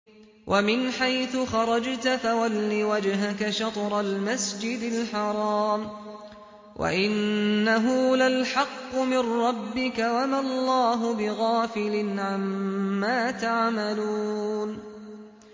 وَمِنْ حَيْثُ خَرَجْتَ فَوَلِّ وَجْهَكَ شَطْرَ الْمَسْجِدِ الْحَرَامِ ۖ وَإِنَّهُ لَلْحَقُّ مِن رَّبِّكَ ۗ وَمَا اللَّهُ بِغَافِلٍ عَمَّا تَعْمَلُونَ